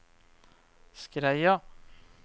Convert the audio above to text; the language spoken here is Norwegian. Skreia